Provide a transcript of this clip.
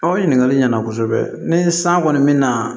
O ɲininkali ɲana kosɛbɛ ni san kɔni bɛ na